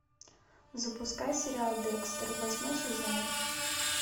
запускай сериал декстер восьмой сезон